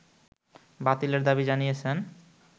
বাতিলের দাবি জানিয়েছেন